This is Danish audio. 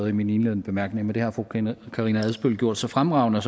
i mine indledende bemærkninger men det har fru karina karina adsbøl gjort så fremragende